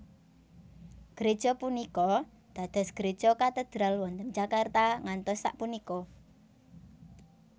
Gréja punika dados gréja Katedral wonten Jakarta ngantos sapunika